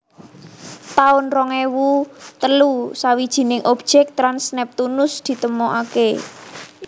taun rong ewu telu Sawijining objek trans Neptunus ditemokaké